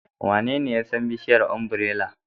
Wanene ya san bishiyar ombirela?